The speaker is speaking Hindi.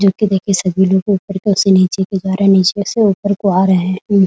जो कि देखिए सभी लोग ऊपर की ओर से नीचे को जा रहे है नीचे से ऊपर को आ रहे है।